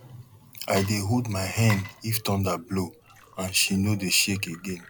i dey hold my hen if thunder blow and she no dey shake again